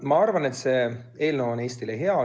Ma arvan, et see eelnõu on Eestile hea.